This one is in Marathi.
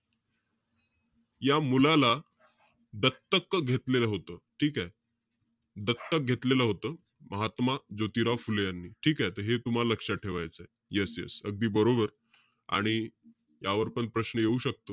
या मुलाला, दत्तक घेतलेलं होतं. ठीके? दत्तक घेतलेलं होतं, महात्मा ज्योतिराव फुले यांनी. ठीकेय? त हे तुम्हाला लक्षात ठेवायचंय. Yes yes अगदी बरोबर. आणि यावर पण प्रश्न येऊ शकतो.